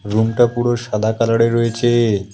রুমটা পুরো সাদা কালারের রয়েছে।